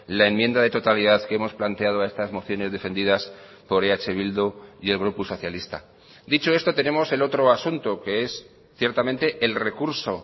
la enmienda de totalidad que hemos planteado a estas mociones defendidas por eh bildu y el grupo socialista dicho esto tenemos el otro asunto que es ciertamente el recurso